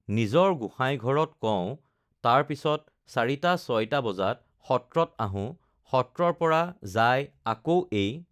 নিজৰ গোঁসাই ঘৰত কও তাৰ পিছত চাৰিটা ছয়টা বজাত সত্ৰত আহোঁ সত্ৰৰ পৰা যায় আকৌ এই